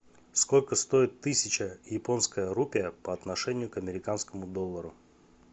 сколько стоит тысяча японская рупия по отношению к американскому доллару